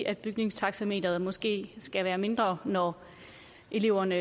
at bygningstaxameteret måske skal være mindre når eleverne